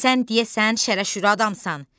Sən deyəsən şərə-şürə adamsan.